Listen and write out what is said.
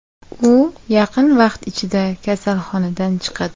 U yaqin vaqt ichida kasalxonadan chiqadi.